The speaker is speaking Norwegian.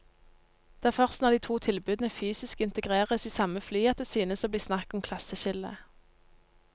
Det er først når de to tilbudene fysisk integreres i samme fly at det synes å bli snakk om klasseskille.